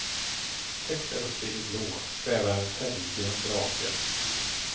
Högt däruppe i det blåa svävar en färggrann drake.